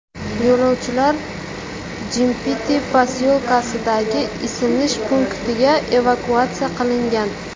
Yo‘lovchilar Jimpiti posyolkasidagi isinish punktiga evakuatsiya qilingan.